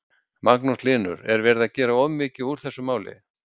Magnús Hlynur: Er verið að gera of mikið úr þessu máli?